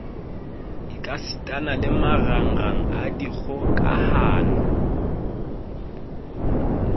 ekasitana le marangrang a dikgokahano